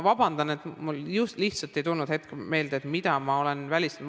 Vabandust, mul lihtsalt ei tulnud hetkel meelde, mida ma olen välistanud.